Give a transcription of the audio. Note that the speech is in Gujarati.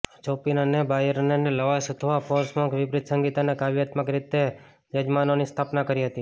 ચોપિન અને બાયરનએ લવાશ અથવા ફોર્શમક વિપરીત સંગીત અને કાવ્યાત્મક રીતે યજમાનોની સ્થાપના કરી હતી